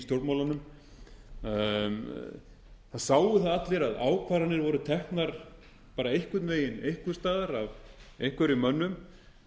stjórnmálunum það sáu það allir að ákvarðanir voru teknar bara einhvern veginn einhvers staðar af einhverjum mönnum